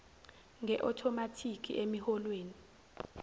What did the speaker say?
nge othomathikhi emiholweni